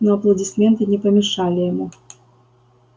но аплодисменты не помешали ему